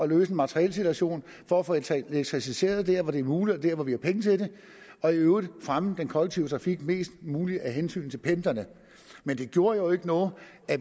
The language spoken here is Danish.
løse materielsituationen for at få elektrificeret der hvor det er muligt og vi har penge til det og i øvrigt fremme den kollektive trafik mest muligt af hensyn til pendlerne men det gjorde jo ikke noget